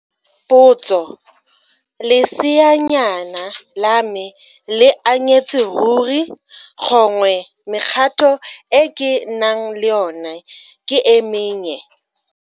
Potso, leseanyana la me le anyetse ruri, gongwe mekgato e ke nang le yona ke e mennye?